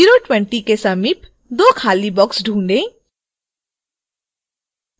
020 के समीप दो खाली boxes ढूंढ़े